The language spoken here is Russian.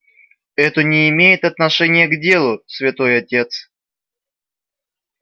это не имеет отношения к делу святой отец